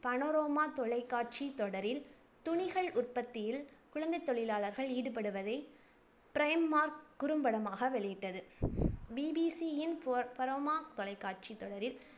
panorama தொலைக்காட்சித் தொடரில் துணிகள் உற்பத்தியில் குழந்தைத் தொழிலாளர்கள் ஈடுபடுத்துவதை primark குறும்படமாக வெளியிட்டது. BBC யின் panorama தொலைக்காட்சித் தொடரில்